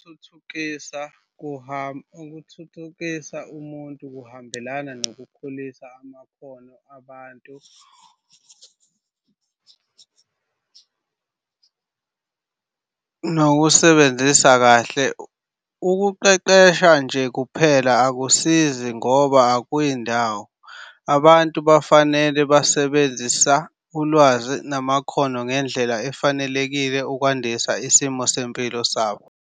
Ukuthuthukisa umuntu kuhambelana nokukhulisa amakhono abantu nokuwasebenzisa kahle. Ukuqeqesha nje kuphela akusizi lutho ngoba akuyi ndawo. Abantu bafanele basebenzisa ulwazi namakhono ngendlela efanelekile ukwandisa isimo sempilo sabo.